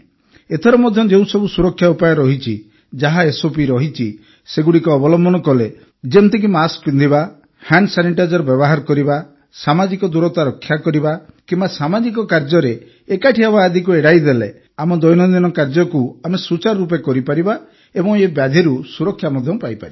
ଏଥର ମଧ୍ୟ ଯେଉଁ ସବୁ ସୁରକ୍ଷା ଉପାୟ ରହିଛି ଯାହା ଏସ୍ଓପି ରହିଛି ସେଗୁଡ଼ିକ ଅବଲମ୍ବନ କଲେ ଯେମିତିକି ମାସ୍କ ପିନ୍ଧିବା ହ୍ୟାଣ୍ଡ ସାନିଟାଇଜର ବ୍ୟବହାର କରିବା ସାମାଜିକ ଦୂରତା ରକ୍ଷା କରିବା କିମ୍ବା ସାମାଜିକ କାର୍ଯ୍ୟରେ ଏକାଠି ହେବା ଆଦିକୁ ଏଡ଼ାଇ ଦେଲେ ଆମ ଦୈନନ୍ଦିନ କାର୍ଯ୍ୟକୁ ଆମେ ସୁଚାରୁ ରୂପେ କରିପାରିବା ଏବଂ ଏହି ବ୍ୟାଧିରୁ ସୁରକ୍ଷା ମଧ୍ୟ ପାଇପାରିବା